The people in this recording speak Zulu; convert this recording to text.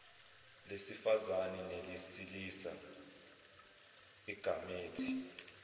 lesifazane nelesilisa igamethi